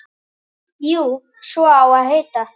Jú, svo á að heita.